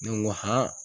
Ne ko